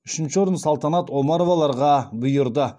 үшінші орын салтанат омароваларға бұйырды